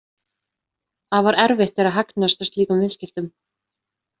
Afar erfitt er að hagnast á slíkum viðskiptum.